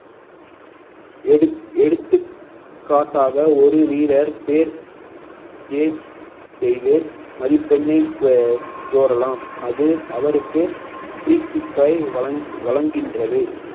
எடு~ எடுத்துக்காட்டாக ஒரு வீரர் பேர் செய்து மதிப்பெண்ணை கோரலாம் அது அவருக்கு free kick ஆய் வழங்~ வழங்கின்றது